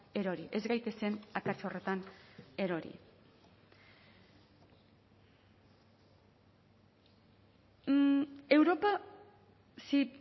erori ez gaitezen akats horretan erori europa si